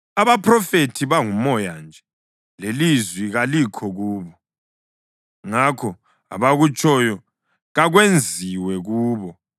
Abaphrofethi bangumoya nje, lelizwi kalikho kubo, ngakho abakutshoyo kakwenziwe kubo.”